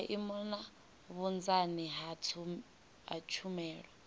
maimo na vhunzani ha tshumelo